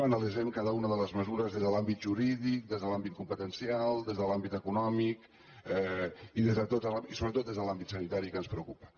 analitzarem cada una de les mesures des de l’àmbit jurídic des de l’àmbit competencial des de l’àmbit econòmic i sobretot des de l’àmbit sanitari que és el que ens preocupa